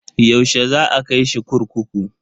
Yaushe za a kai shi kurkuku?